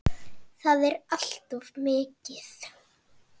Það er allt of mikið.